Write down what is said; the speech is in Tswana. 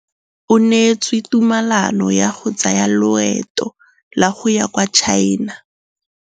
O neetswe tumalanô ya go tsaya loetô la go ya kwa China.